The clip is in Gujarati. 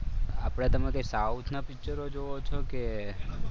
આપણે તમે કંઈક સાઉથ ના પિક્ચરો જોવો છે કે